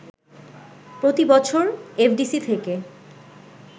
প্রতিবছর এফডিসি থেকে